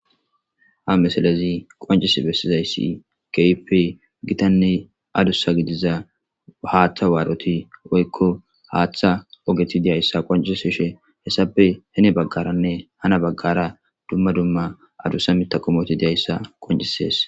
ha mesalezi qoncis bessizayssi keype gitanne adussa gidiza haaththa waaroti woykko haaththa ogeti diyayssa qoncissi she hessape hene baggaranne hana baggara dumma dumma adussa mitakomoti diyayssa qoncisees